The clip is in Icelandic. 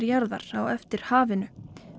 jarðar á eftir hafinu